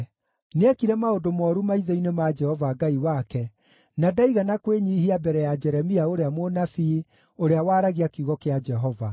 Nĩekire maũndũ mooru maitho-inĩ ma Jehova Ngai wake, na ndaigana kwĩnyiihia mbere ya Jeremia ũrĩa mũnabii, ũrĩa waaragia kiugo kĩa Jehova.